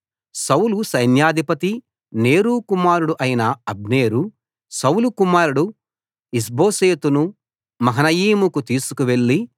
సౌలు సైన్యాధిపతి నేరు కుమారుడు అయిన అబ్నేరు సౌలు కుమారుడు ఇష్బోషెతు ను మహనయీముకు తీసుకు వెళ్ళి